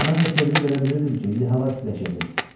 Mən də sevinib elə bilirdim ki, indi hava istiləşəcək.